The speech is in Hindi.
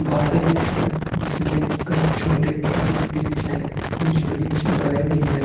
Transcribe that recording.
गार्डन है जिसमें कई छोटे-छोटे वृक्ष हैं। कुछ वृक्ष बड़े भी हैं।